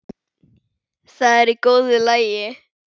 Það er í góðu lagi.